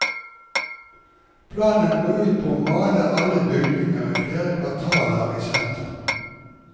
Planen går ut på å male alle bygninger i flere kvartaler i sentrum.